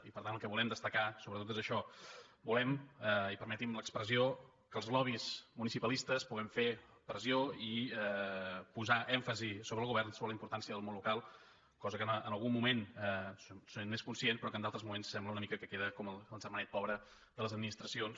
i per tant el que volem destacar sobretot és això volem i permeti’m l’expressió que els lobbys muni·cipalistes puguem fer pressió i posar èmfasi sobre el govern sobre la importància del món local cosa que en algun moment se n’és conscient però que en d’al·tres moments sembla una mica que queda com el ger·manet pobre de les administracions